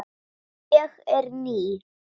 Stelpan nagaði sig í svefn.